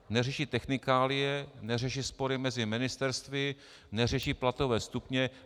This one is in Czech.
Neřeší technikálie, neřeší spory mezi ministerstvy, neřeší platové stupně.